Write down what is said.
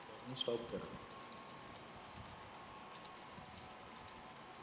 तुम्ही stop करा